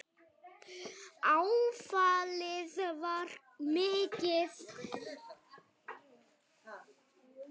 Áfallið var mikið.